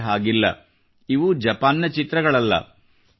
ಆದರೆ ಹಾಗಿಲ್ಲ ಇವು ಜಪಾನ್ ನ ಚಿತ್ರಗಳಲ್ಲ